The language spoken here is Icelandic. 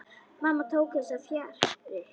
Mamma tók þessu fjarri.